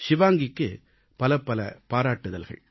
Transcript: ஷிவாங்கிக்கு பலபல பாராட்டுகள்